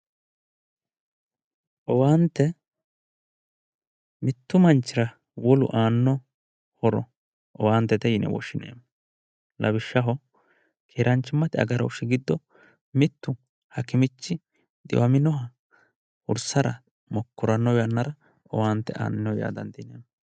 owaante mittu manchira wolu aanno horo owaantete yine woshshineemmo lawishshaho keeraanchimmate agarooshshi giddo mittu hakimichi xiwaminoha hursara mokkoranno yannara owaante aanni no yaa dandiinanni.